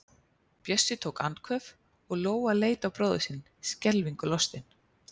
Bjössi tók andköf og Lóa leit á bróður sinn, skelfingu lostin.